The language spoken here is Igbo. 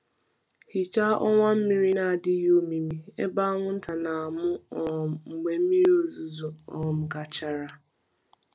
Hichaa ọwa mmiri na-adịghị omimi ebe anwụnta na-amụ um mgbe mmiri ozuzo um gachara. um